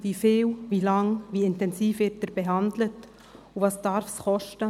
Wie viel, wie lange, wie intensiv wird er behandelt, und was darf dies kosten?